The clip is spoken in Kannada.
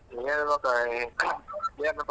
ಹೇಳ್ಬೇಕ .